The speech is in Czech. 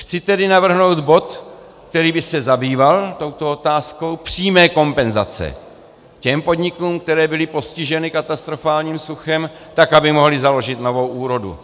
Chci tedy navrhnout bod, který by se zabýval touto otázkou přímé kompenzace těm podnikům, které byly postiženy katastrofálním suchem, tak aby mohly založit novou úrodu.